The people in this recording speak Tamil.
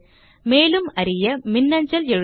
மேலும் அறிய மின்னஞ்சல் எழுதவும்